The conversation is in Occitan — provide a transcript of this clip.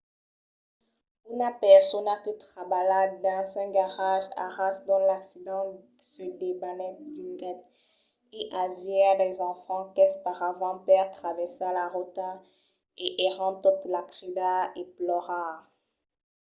una persona que trabalha dins un garatge a ras d'ont l’accident se debanèt diguèt: i aviá d’enfants qu’esperavan per traversar la rota e èran totes a cridar e plorar.